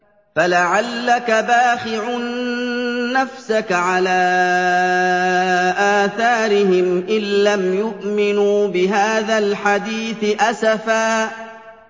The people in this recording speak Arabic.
فَلَعَلَّكَ بَاخِعٌ نَّفْسَكَ عَلَىٰ آثَارِهِمْ إِن لَّمْ يُؤْمِنُوا بِهَٰذَا الْحَدِيثِ أَسَفًا